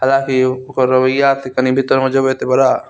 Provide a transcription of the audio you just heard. हाला की ओकर रवैया बड़ा --